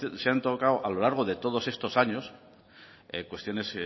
se han tocado a lo largo de todos estos años cuestiones